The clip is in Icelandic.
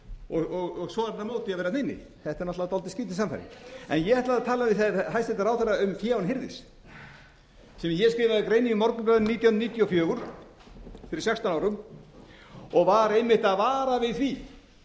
og svo er hann á móti því að vera þarna inni þetta er náttúrlega dálítið skrýtin sannfæring ég ætlaði að tala við hæstvirtan ráðherra um fé án hirðis sem ég skrifaði grein um í morgunblaðinu nítján hundruð níutíu og fjögur fyrir sextán árum og var einmitt að vara við því